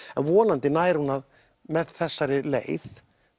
vonandi nær hún með þessari leið